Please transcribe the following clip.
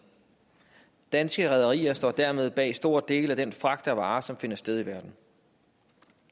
danske rederier står dermed bag en stor del af den fragt af varer som finder sted i verden